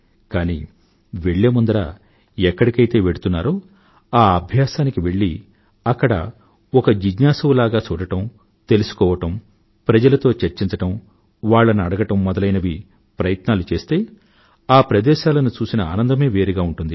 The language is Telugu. కానీ వెళ్ళే ముందర ఎక్కడికైతే వెళ్తున్నారో ఆ అభ్యాసానికి వెళ్ళి అక్కడ ఒక జిజ్ఞాసువు లాగ చూడడం తెలుసుకోవడం ప్రజలతో చర్చించడం వాళ్లను అడగడం మొదలైన ప్రయత్నాలు చేస్తే ఆ ప్రదేశాలను చూసిన ఆనందమే వేరుగా ఉంటుంది